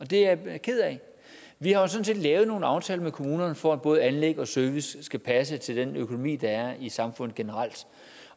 det er jeg ked af vi har sådan set lavet nogle aftaler med kommunerne for at både anlæg og service skal passe til den økonomi der er i samfundet generelt